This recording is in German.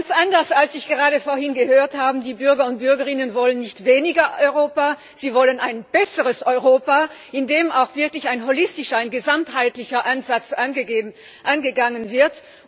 Ganz anders, als ich gerade vorhin gehört habe, wollen die Bürger und Bürgerinnen nicht weniger Europa, sie wollen ein besseres Europa, in dem auch wirklich ein holistischer, ein ganzheitlicher Ansatz angegangen wird!